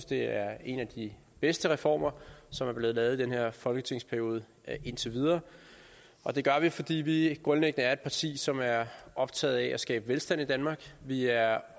det er en af de bedste reformer som er blevet lavet i den her folketingsperiode indtil videre og det gør vi fordi vi grundlæggende er et parti som er optaget af at skabe velstand i danmark vi er